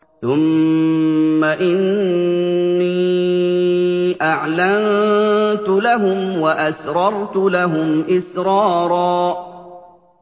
ثُمَّ إِنِّي أَعْلَنتُ لَهُمْ وَأَسْرَرْتُ لَهُمْ إِسْرَارًا